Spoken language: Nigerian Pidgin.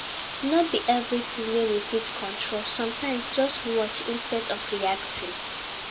No be everything wey we fit control, sometimes just watch instead of reacting